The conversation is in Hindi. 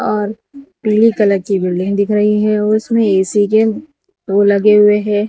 और पीली कलर की बिल्डिंग दिख रही है और उसमें ए_सी के ओ लगे हुए हैं।